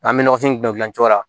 An bɛ nɔgɔfin dilan cogo la